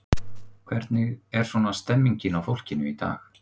Hvernig var svona stemningin á fólkinu í dag?